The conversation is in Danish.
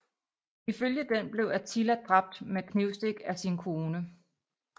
Ifølge den blev Attila dræbt med knivstik af sin kone